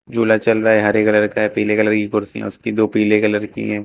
झूला चल रहा है हरे कलर का है पीले कलर कुर्सियां उसकी दो पीले कलर की हैं।